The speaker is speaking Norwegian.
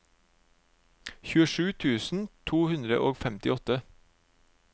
tjuesju tusen to hundre og femtiåtte